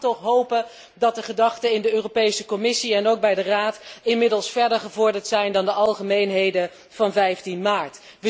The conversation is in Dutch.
Ik mag toch hopen dat de gedachten in de Commissie en ook bij de Raad inmiddels verder gevorderd zijn dan de algemeenheden van 15 maart.